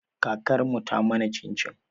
Kakar mu ta mana cin-cin.